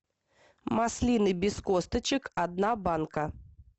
маслины без косточек одна банка